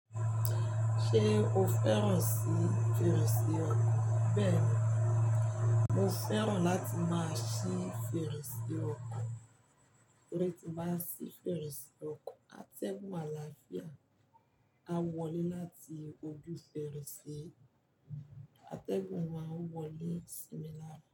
Ṣé o fẹ́ràn sí fèrèsé ọkọ̀? Bẹ́ẹ̀ni, mo fẹ́ràn láti máa ṣí fèrèsé ọkọ̀, láti máa ṣí fèrèsé ọkọ̀. Atẹ́gùn àlàáfíà, á wolé láti ojú fèrèsé, atẹ́gùn àwọn àwọ̀rí sì mi láàfíà.